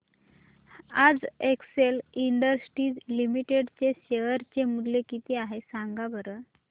आज Excel Industries Limited चे share चे मूल्य किती आहे सांगा बरं